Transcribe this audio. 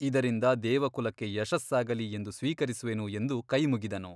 ಇದರಿಂದ ದೇವಕುಲಕ್ಕೆ ಯಶಸ್ಸಾಗಲಿ ಎಂದು ಸ್ವೀಕರಿಸುವೆನು ಎಂದು ಕೈ ಮುಗಿದನು.